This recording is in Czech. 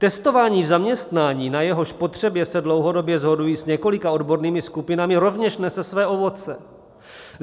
Testování v zaměstnání, na jehož potřebě se dlouhodobě shoduji s několika odbornými skupinami, rovněž nese své ovoce.